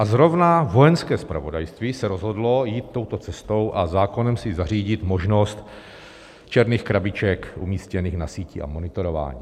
A zrovna Vojenské zpravodajství se rozhodlo jít touto cestou a zákonem si zařídit možnost černých krabiček umístěných na síti a monitorování.